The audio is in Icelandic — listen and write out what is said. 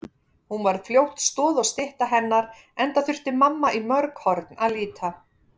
Hún varð fljótt stoð og stytta hennar enda þurfti mamma í mörg horn að líta.